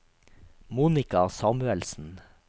Monika Samuelsen